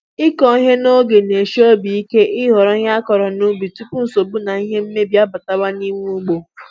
ịkụ ihe n'oge n'eshi obi ike i ghọrọ ihe akọrọ n'ubi tupu nsogbu na ihe mmebi abata n'ime ugbo